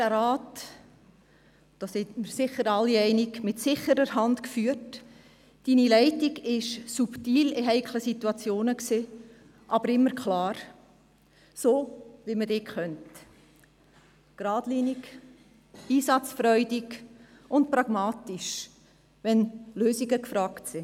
Sie haben den Rat mit sicherer Hand geführt, Ihre Leitung war subtil in heiklen Situationen, aber immer klar, so wie man Sie kennt – gradlinig, einsatzfreudig und pragmatisch, wenn Lösungen gefragt sind.